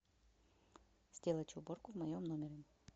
сделать уборку в моем номере